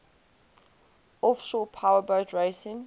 offshore powerboat racing